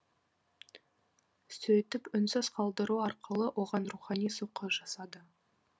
сөйтіп үнсіз қалдыру арқылы оған рухани соққы жасады